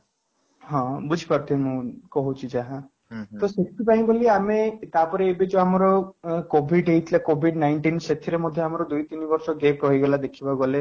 ହଁ, ବୁଝିପାରୁଥିବେ ମୁଁ କହୁଛି ଯାହା ତ ସେଥିପାଇଁ ବୋଲି ଆମେ ତାପରେ ଏବେ ଯୋଉ ଆମର covid ହେଇଥିଲା covid nineteen ସେଥିରେ ମଧ୍ୟ ଆମର ଦୁଇ ତିନି ବର୍ଷ gap ରହିଗଲା ଦେଖିବାକୁ ଗଲେ